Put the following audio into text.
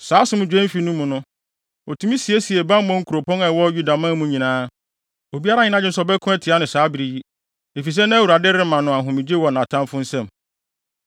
Saa asomdwoe mfe no mu no, otumi siesiee bammɔ nkuropɔn a ɛwɔ Yudaman mu nyinaa. Obiara anyɛ nʼadwene sɛ ɔbɛko atia no saa bere yi, efisɛ na Awurade rema no ahomegye wɔ nʼatamfo nsam.